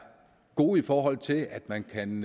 gode i forhold til at man kan